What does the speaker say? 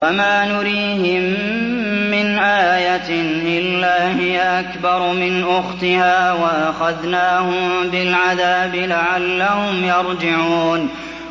وَمَا نُرِيهِم مِّنْ آيَةٍ إِلَّا هِيَ أَكْبَرُ مِنْ أُخْتِهَا ۖ وَأَخَذْنَاهُم بِالْعَذَابِ لَعَلَّهُمْ يَرْجِعُونَ